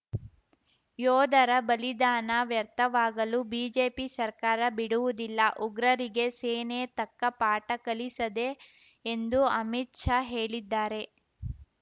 ಯೋಧರ ಬಲಿದಾನ ವ್ಯರ್ಥವಾಗಲು ಬಿಜೆಪಿ ಸರ್ಕಾರ ಬಿಡುವುದಿಲ್ಲ ಉಗ್ರರಿಗೆ ಸೇನೆ ತಕ್ಕ ಪಾಠ ಕಲಿಸದೆ ಎಂದು ಅಮಿತ್‌ ಶಾ ಹೇಳಿದ್ದಾರೆ